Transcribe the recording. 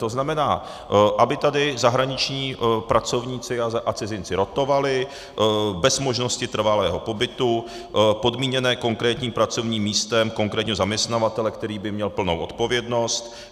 To znamená, aby tady zahraniční pracovníci a cizinci rotovali bez možnosti trvalého pobytu, podmíněné konkrétním pracovním místem, konkrétně zaměstnavatele, který by měl plnou odpovědnost.